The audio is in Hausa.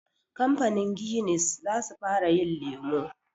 Kamfanin Guinness za su fara yin lemu